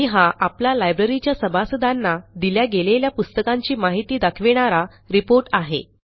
आणि हा आपला लायब्ररीच्या सभासदांना दिल्या गेलेल्या पुस्तकांची माहिती दाखविणारा रिपोर्ट आहे